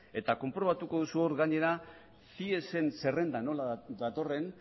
eta konprobatuko duzu hor gainera ciesen zerrendan nola datorren